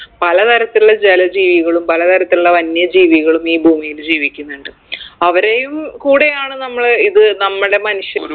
പല തരത്തിലുള്ള ജല ജീവികളും പല തരത്തിലുള്ള വന്യജീവികളും ഈ ഭൂമിയില് ജീവിക്കുന്നുണ്ട് അവരെയും കൂടെയാണ് നമ്മള് ഇത് നമ്മടെ മനുഷ്യ